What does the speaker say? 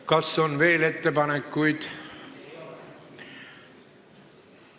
Kas on veel ettepanekuid?